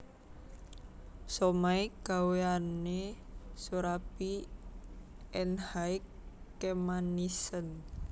Somay gaweane Soerabi Enhaii kemanisen